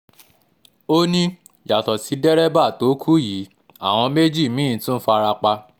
ó ní yàtọ̀ sí dẹ́rẹ́bà tó kù yìí àwọn èèyàn méjì mí-ín tún fara pa